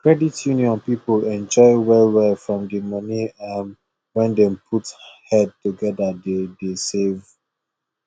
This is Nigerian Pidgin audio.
credit union people enjoy well well from the money um wey them put head together dey dey save